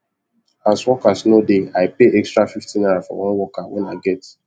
as workers no dey i pay extra fifty naira for one worker wen i get